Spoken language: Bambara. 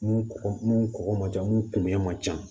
Mun kɔgɔ mun kɔgɔ man ca mun kun ɲɛ ma ca